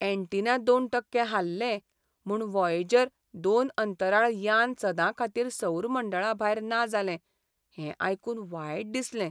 Antenna दोन टक्के हाल्लें म्हूण व्हॉयेजर दोन अंंतराळ यान सदां खातीर सौर मंडळाभायर ना जालें हें आयकून वायट दिसलें.